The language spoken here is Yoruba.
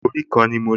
Orí kan ni mo ní